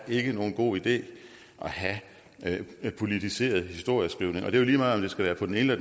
nogen god idé at have politiseret historieskrivning og det jo lige meget om det skal være på den ene